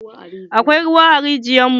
Akwai ruwa a rijiyar mu.